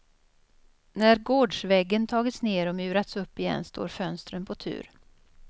När gårdsväggen tagits ner och murats upp igen står fönstren på tur.